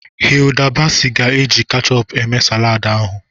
Hilda Baci ga-eji kechup eme saladị ahụ.